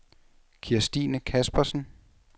Kirstine Caspersen